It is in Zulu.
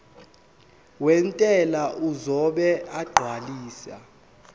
wentela uzobe esegcwalisa